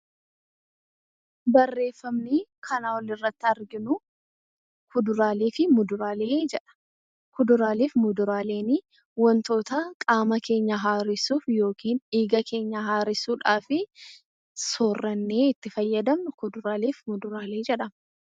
Fuduraalee fi muduraaleen wantoota qaama keenya haaressuuf dhiiga keenya haaressuudhaa fi soorannee itti fayyadamnu fuduraalee fi muduraalee jedhama